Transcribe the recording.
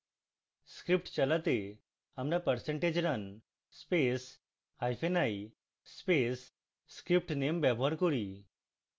script চালাতে আমরা percentage run space hyphen i space scriptname ব্যবহার করি